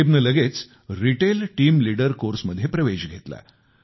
रकीबने लगेच retail team leader कोर्समध्ये प्रवेश घेतला